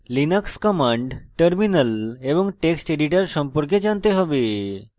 linux commands terminal এবং text editor সম্পর্কে জানতে have